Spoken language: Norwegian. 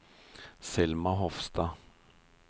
Selma Hofstad